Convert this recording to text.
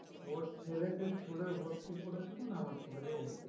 ওর ছেলেকে school এ ভর্তি করেছে মানে আমার ছেলেকেও ভর্তি করতে হবে